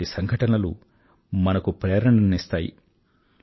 ఇలాంటి సంఘటనలు మనకు ప్రేరణను అందిస్తాయి